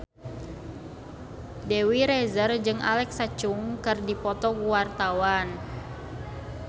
Dewi Rezer jeung Alexa Chung keur dipoto ku wartawan